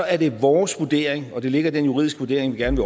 er det vores vurdering og det ligger i den juridiske vurdering vi gerne